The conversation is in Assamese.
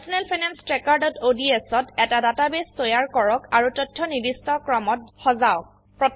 personal finance trackerঅডছ ত এটা ডাটাবেস তৈয়াৰ কৰক আৰু তথ্য নিৰ্দিষ্ট ক্ৰমত সজাওক